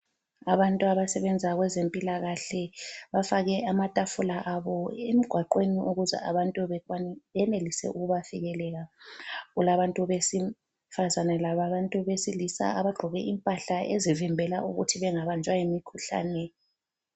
Abantu abasebenza kwezempilakahle bafake amatafula abo emgwaqweni ukuze abantu benelise ukubafikelela , kulabantu besifazane labantu besilisa abagqoke impahla ezivimbela ukuthi bengabanjwa yimikhuhlane